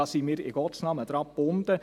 Daran sind wir in Gottes Namen gebunden.